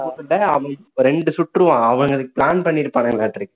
மூணு குண்ட அவன் ரெண்டு சுட்டுருவான் அவனுங்க plan பண்ணி இருப்பாங்கலாட்டுருக்கு